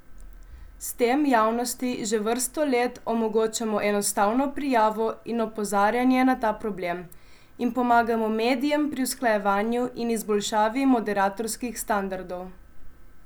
S tem javnosti že vrsto let omogočamo enostavno prijavo in opozarjanje na ta problem in pomagamo medijem pri usklajevanju in izboljšavi moderatorskih standardov.